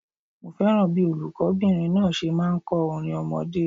Mo fẹ́ràn bíí olùkó bìnrin náà se máa n kó orin ọmọdé